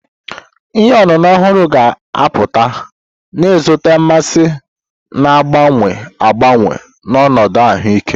Ihe ọṅụṅụ ọhụrụ ga-apụta, na-ezute mmasị na-agbanwe agbanwe na ọnọdụ ahụike.